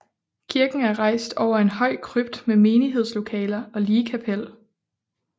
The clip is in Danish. Kirken er rejst over en høj krypt med menighedslokaler og ligkapel